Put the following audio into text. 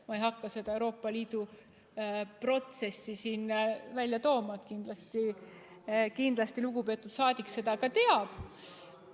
Ma ei hakka seda Euroopa Liidu protsessi siin välja tooma, kindlasti lugupeetud rahvasaadik seda ka teab.